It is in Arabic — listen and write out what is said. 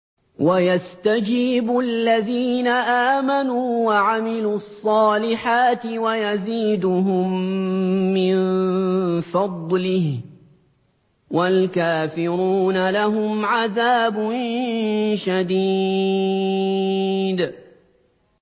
وَيَسْتَجِيبُ الَّذِينَ آمَنُوا وَعَمِلُوا الصَّالِحَاتِ وَيَزِيدُهُم مِّن فَضْلِهِ ۚ وَالْكَافِرُونَ لَهُمْ عَذَابٌ شَدِيدٌ